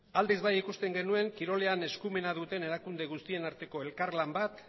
aldiz bai ikusten genuen kirolean eskumena duten erakunde guztien arteko elkar lan bat